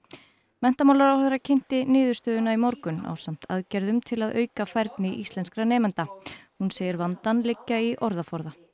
menntamálaráðherra kynnti niðurstöðuna í morgun ásamt aðgerðum til að auka færni íslenskra nemenda hún segir vandann liggja í orðaforða